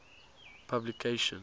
publication